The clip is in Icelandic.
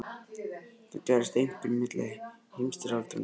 Þetta gerðist einkum milli heimsstyrjaldanna tveggja.